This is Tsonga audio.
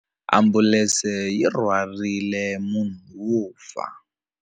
Ambulense yi rhwarile munhu wo fa.